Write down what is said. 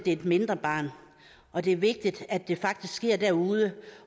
er et mindre barn og det er vigtigt at det faktisk sker derude